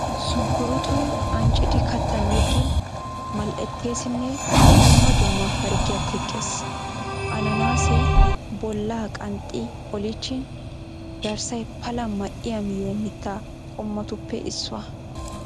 Sunkkuruutoy anccidi kattan yeggin mal'etteesinne dumma dumma harggiya teqqes. Ananaasee bollaa qanxxi oliichchin garssay pala ma'iya miyo mitta qommotuppe issuwa.